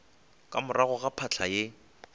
ka morago ga phahla ye